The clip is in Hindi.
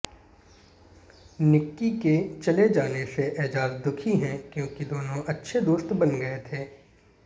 निक्की के चले जाने से एजाज दुखी हैं क्योंकि दोनों अच्छे दोस्त बन गये थे